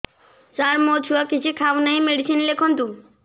ସାର ମୋ ଛୁଆ କିଛି ଖାଉ ନାହିଁ ମେଡିସିନ ଲେଖନ୍ତୁ